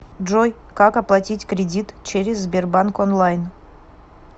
джой как оплатить кредит через сбербанк онлайн